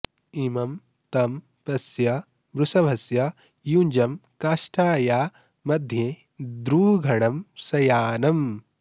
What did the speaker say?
इ॒मं तं प॑श्य वृष॒भस्य॒ युञ्जं॒ काष्ठा॑या॒ मध्ये॑ द्रुघ॒णं शया॑नम्